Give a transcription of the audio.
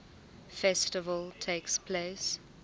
festival takes place